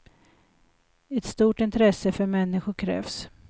Ett stort intresse för människor krävs.